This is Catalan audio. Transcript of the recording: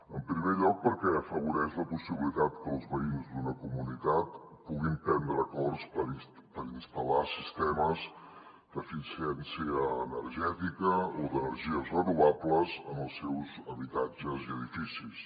en primer lloc perquè afavoreix la possibilitat que els veïns d’una comunitat puguin prendre acords per instal·lar sistemes d’eficiència energètica o d’energies renovables en els seus habitatges i edificis